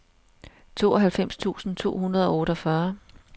tooghalvfems tusind to hundrede og otteogfyrre